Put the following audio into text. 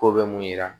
Ko bɛ mun yira